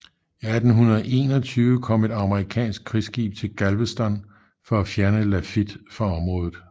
I 1821 kom et amerikansk krigsskib til Galveston for at fjerne Lafitte fra området